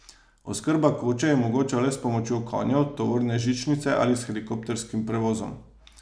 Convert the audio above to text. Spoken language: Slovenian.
Oskrba koče je mogoča le s pomočjo konjev, tovorne žičnice ali s helikopterskim prevozom.